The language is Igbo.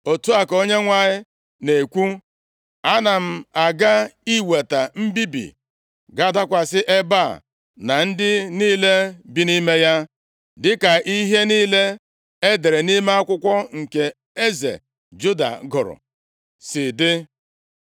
‘Otu a ka Onyenwe anyị na-ekwu: Ana m aga iweta mbibi ga-adakwasị ebe a na ndị niile bi nʼime ya, dịka ihe niile e dere nʼime akwụkwọ nke eze Juda gụrụ, si dị.